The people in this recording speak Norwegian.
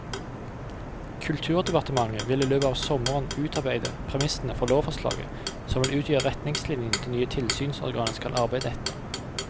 Kulturdepartementet vil i løpet av sommeren utarbeide premissene for lovforslaget som vil utgjøre retningslinjene det nye tilsynsorganet skal arbeide etter.